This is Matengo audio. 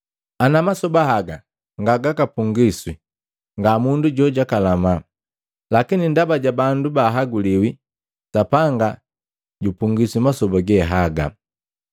Ana masoba haga nga gakapungiswi, nga mundu jojakalama, lakini ndaba ja bandu bahaguliwi, Sapanga jupungwisi masoba ge haga.